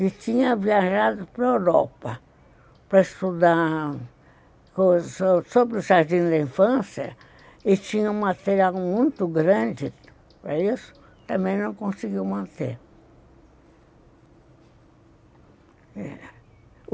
que tinha viajado para a Europa para estudar sobre o jardim da infância e tinha um material muito grande para isso, também não conseguiu manter.